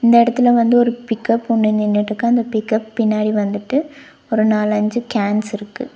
இந்த எடத்துல வந்து ஒரு பிக்கப் ஒன்னு நின்னுட்க்கு அந்த பிக்கப் பின்னாடி வந்துட்டு ஒரு நாலு அஞ்சு கேன்ஸ் இருக்கு.